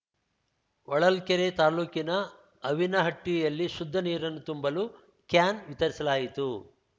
ಹೊಳಲ್ಕೆರೆ ತಾಲೂಕಿನ ಅವಿನಹಟ್ಟಿಯಲ್ಲಿ ಶುದ್ದ ನೀರನ್ನು ತುಂಬಲು ಕ್ಯಾನ್‌ ವಿತರಿಸಲಾಯಿತು